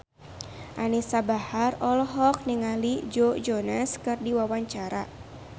Anisa Bahar olohok ningali Joe Jonas keur diwawancara